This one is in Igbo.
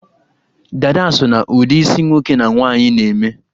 dádá so na ụdị isi nwoke na nwaanyị na-eme